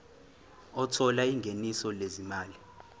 othola ingeniso lezimali